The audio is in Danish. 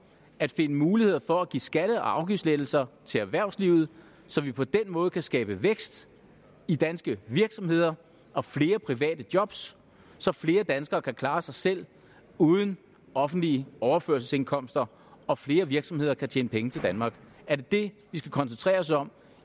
at finde muligheder for at give skatte og afgiftslettelser til erhvervslivet så vi på den måde kan skabe vækst i danske virksomheder og flere private jobs så flere danskere kan klare sig selv uden offentlige overførselsindkomster og flere virksomheder kan tjene penge til danmark er det det vi skal koncentrere os om